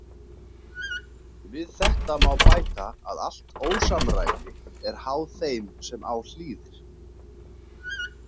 Við þetta má bæta að allt ósamræmi er háð þeim sem á hlýðir.